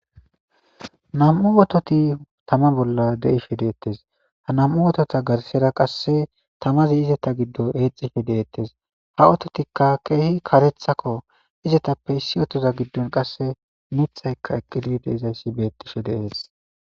Nam'u oototi tama bolla deife deettes ha nam'u otota garsera qasse tamazi izeta giddo eexife deettes ha ototikka keehi karethakko izetappe issi otoza giddon qasse mithaykka eqqidi de izayssi beettishe deees